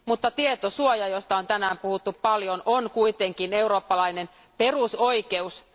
Mutta tietosuoja, josta on tänään puhuttu paljon, on kuitenkin eurooppalainen perusoikeus.